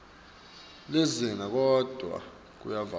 lizinga kodvwa kuyevakala